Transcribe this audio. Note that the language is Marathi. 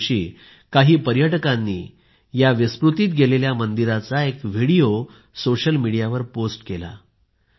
एके दिवशी काही पर्यटकांनी या विस्मृतीत गेलेल्या मंदिराचा एक व्हिडिओ सोशल मीडियावर पोस्ट केला